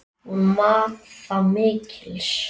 Hún mat það mikils.